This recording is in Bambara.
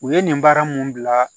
U ye nin baara mun bila